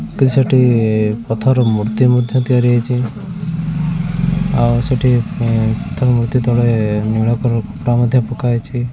କିଛି ଗୋଟେ ପଥର ମୂର୍ତ୍ତି ମଧ୍ୟ ତିଆରି ହେଇଚି ଆଉ ସେଠି ଉଁ ପଥର ମୂର୍ତ୍ତି ତଳେ ନୀଳ କଲର୍ କପଡା ମଧ୍ୟ ପକା ହେଇଚି।